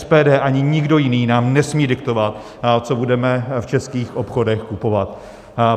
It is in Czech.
SPD ani nikdo jiný nám nesmí diktovat, co budeme v českých obchodech kupovat.